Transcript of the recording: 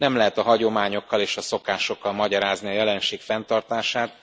Nem lehet a hagyományokkal és a szokásokkal magyarázni a jelenség fenntartását.